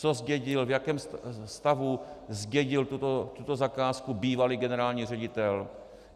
Co zdědil,v jakém stavu zdědil tuto zakázku bývalý generální ředitel?